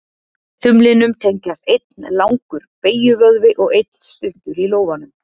Þumlinum tengjast einn langur beygjuvöðvi og einn stuttur í lófanum.